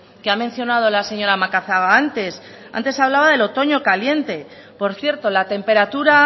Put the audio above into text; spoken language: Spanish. que ha mencionado la señora macazaga antes antes hablaba de otoño caliente por cierto la temperatura